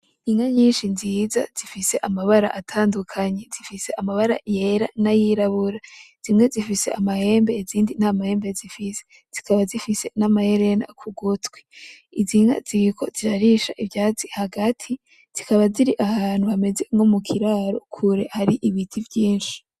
Inka nyinshi nziza zifise amabara atandukanye, zifise amabara yera n'ayirabura zimwe zifize amahembe izindi ntamahembe zifise, zikaba zifise n'amaherena k'ugutwi, iz'inka ziriko zirarisha ivyatsi hagati zikaba ziri ahantu hameze nko mukiraro kure hari ibiti vyinshi.